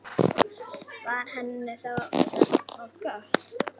Var henni það of gott?